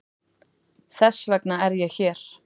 Þess vegna er ég hér.